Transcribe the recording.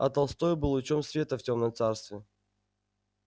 а толстой был лучом света в тёмном царстве